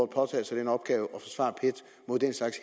påtage sig den opgave